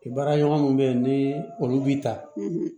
Baaraɲɔgɔnw bɛ yen ni olu b'i ta